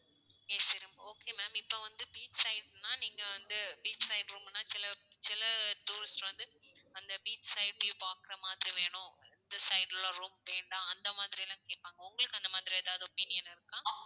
AC room okay ma'am இப்போ வந்து beach side னா, நீங்க வந்து beach side room னா சில சில tourist வந்து அந்த beach side view பாக்குற மாதிரி வேணும். மிச்ச side ல room வேண்டாம். அந்த மாதிரி எல்லாம் கேட்பாங்க. உங்களுக்கு அந்த மாதிரி ஏதாவது opinion இருக்கா?